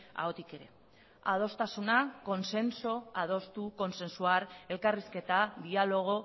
ahotik ere adostasuna consenso adostu consensuar elkarrizketa diálogo